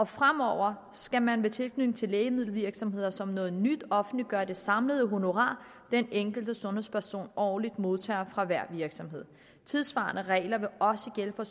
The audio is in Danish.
fremover skal man ved tilknytning til lægemiddelvirksomheder som noget nyt offentliggøre det samlede honorar den enkelte sundhedsperson årligt modtager fra hver virksomhed tilsvarende regler vil også gælde for